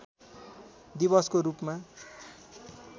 दिवसको रूपमा